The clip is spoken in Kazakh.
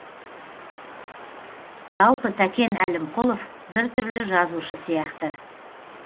жалпы тәкен әлімқұлов бір түрлі жазушы сияқты